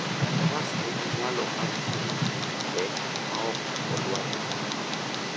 Faras nigi nyalo mar ting'o gik mapek maok olwar e thim.